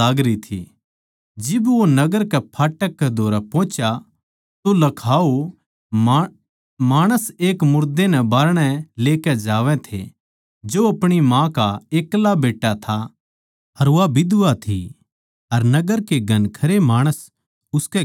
जिब वो नगर कै फाटक कै धोरै पोहुच्या तो लखाओ माणस एक मुरदे नै बाहरणै लेकै जावै थे जो अपणी माँ का एक्ला बेट्टा था अर वा बिधवा थी अर नगर के घणखरे माणस उसकै गेल्या थे